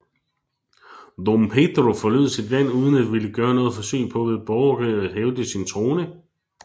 Dom Pedro forlod sit land uden at ville gøre noget forsøg på ved borgerkrig at hævde sin trone